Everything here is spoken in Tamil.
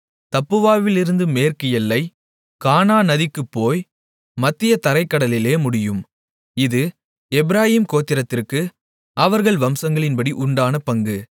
தப்புவாவிலிருந்து மேற்கு எல்லை கானா நதிக்குப் போய் மத்திய தரைக் கடலிலே முடியும் இது எப்பிராயீம் கோத்திரத்திற்கு அவர்கள் வம்சங்களின்படி உண்டான பங்கு